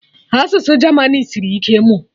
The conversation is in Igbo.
Asụsụ German sịrị ike ịmụ